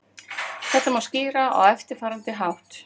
Þetta má skýra á eftirfarandi hátt.